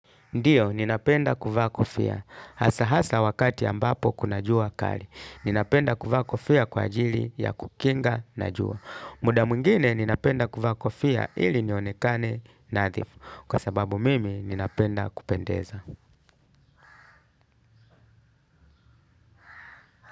Ndiyo, ninapenda kufa kofia. Hasa hasa wakati ambapo kuna jua kali. Ninapenda kuvaa kufia kwa ajili ya kukinga na jua. Muda mwingine ninapenda kovaa kofia ili nionekane nadhifu. Kwa sababu mimi ninapenda kupendeza.